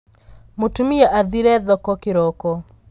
Mũtumia athire thoko kĩroko.